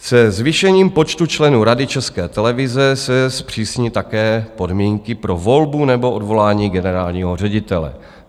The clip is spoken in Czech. Se zvýšením počtu členů Rady České televize se zpřísní také podmínky pro volbu nebo odvolání generálního ředitele.